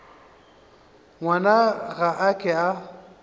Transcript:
ngwana ga a ke a